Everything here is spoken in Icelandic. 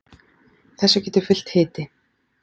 þessu getur fylgt hiti